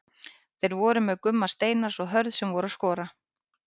Þeir voru með Gumma Steinars og Hörð sem voru að skora.